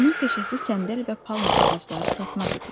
Onun peşəsi səndəl və palma ağacları satmaq idi.